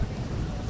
Dayan dayan!